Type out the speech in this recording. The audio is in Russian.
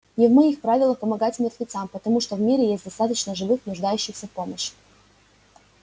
не в моих правилах помогать мертвецам потому что в мире есть достаточно живых нуждающихся в помощи